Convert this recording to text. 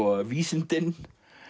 vísindin